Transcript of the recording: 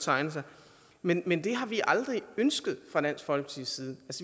tegne sig men men det har vi aldrig ønsket fra dansk folkepartis side